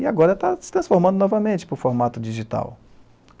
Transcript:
E agora está se transformando novamente para o formato digital.